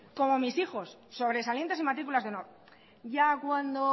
como mis hijos sobresalientes y matrículas de honor ya cuando